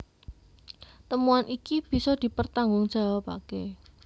Temuan iki bisa dipertanggungjawabaké